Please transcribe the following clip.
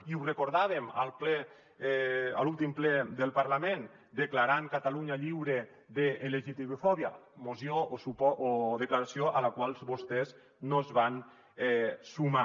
i ho recordàvem al ple a l’últim ple del parlament declarant catalunya lliure de lgtbi·fòbia moció o de·claració a la qual vostès no es van sumar